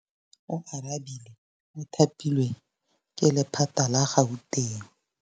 Oarabile o thapilwe ke lephata la Gauteng.